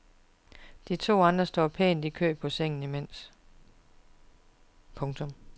De to andre står pænt i kø på sengen imens. punktum